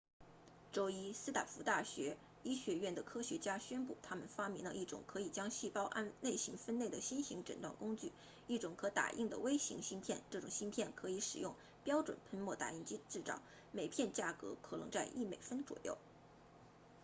周一斯坦福大学医学院的科学家宣布他们发明了一种可以将细胞按类型分类的新型诊断工具一种可打印的微型芯片这种芯片可以使用标准喷墨打印机制造每片价格可能在一美分左右